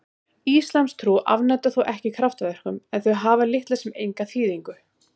Íslamstrú afneitar þó ekki kraftaverkum en þau hafa litla sem enga þýðingu.